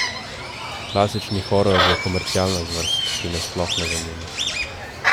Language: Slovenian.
Klasični horor je komercialna zvrst, ki me sploh ne zanima.